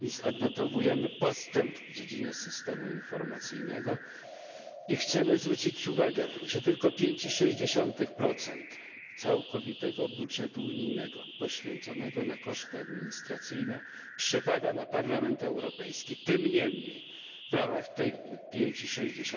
Odnotowujemy postęp w dziedzinie systemu informacyjnego i chcemy zwrócić uwagę, że tylko 5,6 całkowitego budżetu unijnego poświęconego na koszty administracyjne przypada na Parlament Europejski. Tym niemniej w ramach tych 5,6